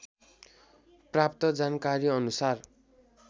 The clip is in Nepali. प्राप्त जानकारी अनुसार